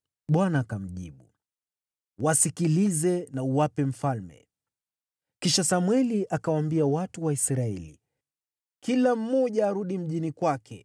Bwana akamjibu, “Wasikilize na uwape mfalme.” Kisha Samweli akawaambia watu wa Israeli, “Kila mmoja arudi mjini kwake.”